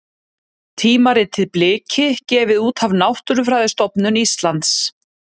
Tímaritið Bliki, gefið út af Náttúrufræðistofnun Íslands.